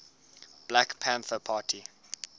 black panther party